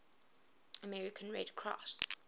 american red cross